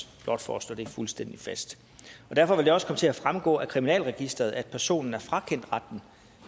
blot for at slå det fuldstændig fast derfor vil det også komme til at fremgå af kriminalregisteret at personen er frakendt retten